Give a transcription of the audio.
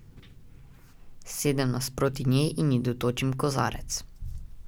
Sedem nasproti nje in ji dotočim v kozarec.